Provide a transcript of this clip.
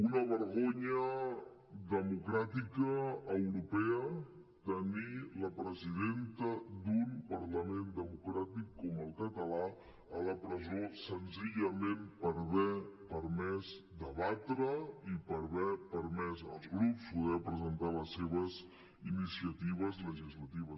una vergonya democràtica europea tenir la presidenta d’un parlament democràtic com el català a la presó senzillament per haver permès debatre i per haver permès als grups poder presentar les seves iniciatives legislatives